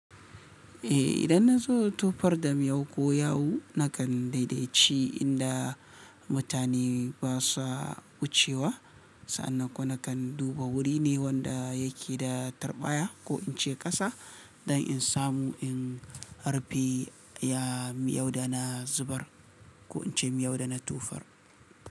Eh idan nazo tufar dam miyau ko yawu nakan daidaitci inda mutane basa wucewa. Sa'anan kuma nakan duba wuri ne wanda yake da tarbaya ko in ce ƙasa don in samu in harbi ya miyau da na zubar ko in ce miyau da na tufar.